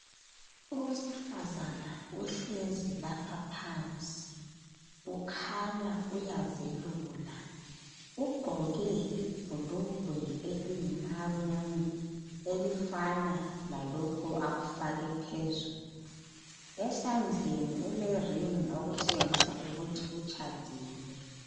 Owesifazana uhlezi lapha phansi, ukhanya uyazelula, ugqoke ibhulugwe eliyimaruni elifana lalokho akufake phezulu. Esandleni ulering okutshengisa ukuthi utshadile.